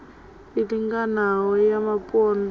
i linganaho ya vhapondwa na